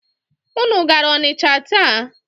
Unu gara Ọnịcha taa?